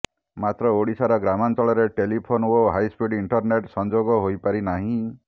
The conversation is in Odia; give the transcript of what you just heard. ମାତ୍ର ଓଡ଼ିଶାର ଗ୍ରାମାଞ୍ଚଳରେ ଟେଲିଫୋନ୍ ଓ ହାଇସ୍ପିଡ୍ ଇଣ୍ଟରନେଟ୍ ସଂଯୋଗ ହୋଇପାରି ନାହିଁ